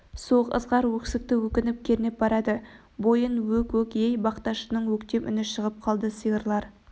суық ызғар өксікті өкініш кернеп барады бойын өк өк ей бақташының өктем үні шығып қалды сиырлар